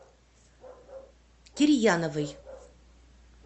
кирьяновой